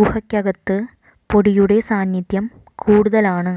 ഗുഹയ്ക്കകത്ത് പൊടിയുടെ സാന്നിധ്യം കൂടുതലാണ്